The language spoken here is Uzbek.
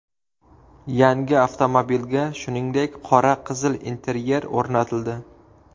Yangi avtomobilga, shuningdek, qora-qizil interyer o‘rnatildi.